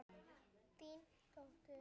Þín dóttir.